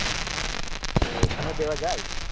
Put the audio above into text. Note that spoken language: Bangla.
ও ওখানেও দেয়া যায়?